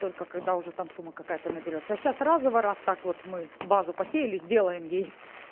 только когда уже там сумма какая-то наберётся а сейчас разово раз так вот мы базу посеяли сделаем ей